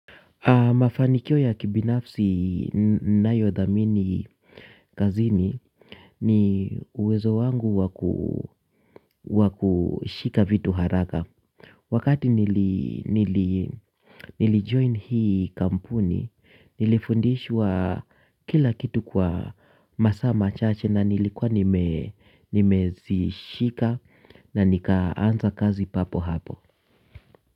Mafanikio ya kibinafsi ninayodhamini kazini ni uwezo wangu wakushika vitu haraka. Wakati nilijoini hii kampuni, nilifundishwa kila kitu kwa masaa machache na nilikuwa nimezishika na nikaanza kazi papo hapo.